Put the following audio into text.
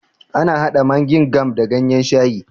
Ana hada Maing kam da ganyen shayi